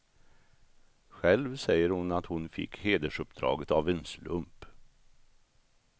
Själv säger hon att hon fick hedersuppdraget av en slump.